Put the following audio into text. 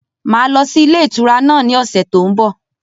Máa lọ sí ilé ìtura náà ni ọ̀sẹ̀ tó ń bọ̀.